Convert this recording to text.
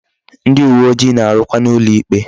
Ndi uwe ojii na-arukwa n'ulo ikpe